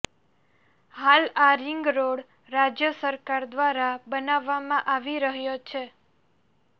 હાલ આ રિંગરોડ રાજ્ય સરકાર દ્વારા બનાવવામાં આવી રહ્યો છે